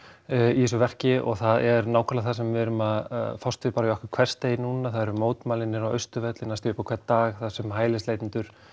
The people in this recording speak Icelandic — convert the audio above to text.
í þessu verki og það er nákvæmlega það sem við erum að fást við í okkar hversdegi núna það eru mótmæli niðri á Austurvelli næstum upp á hvern dag þar sem hælisleitendur